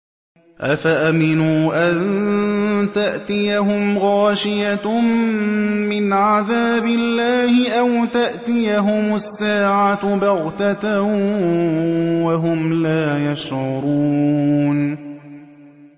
أَفَأَمِنُوا أَن تَأْتِيَهُمْ غَاشِيَةٌ مِّنْ عَذَابِ اللَّهِ أَوْ تَأْتِيَهُمُ السَّاعَةُ بَغْتَةً وَهُمْ لَا يَشْعُرُونَ